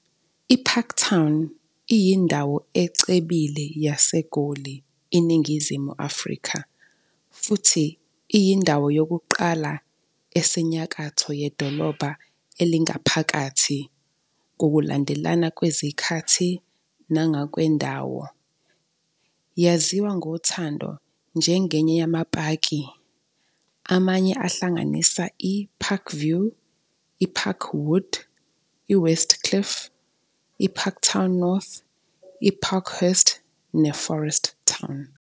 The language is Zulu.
IParktown iyindawo ecebile yaseGoli, INingizimu Afrika, futhi iyindawo yokuqala esenyakatho yedolobha elingaphakathi, ngokulandelana kwezikhathi nangokwendawo. Yaziwa ngothando njengenye yamaPaki, amanye ahlanganisa iParkview, IParkwood, I-Westcliff, IParktown North, IParkhurst neForest Town.